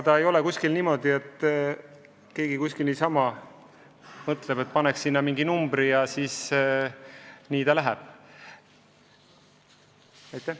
Ei ole niimoodi, et keegi niisama mõtleb, et paneks sinna mingi numbri, ja nii lähebki.